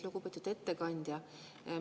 Lugupeetud ettekandja!